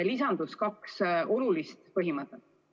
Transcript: Lisandusid kaks olulist põhimõtet.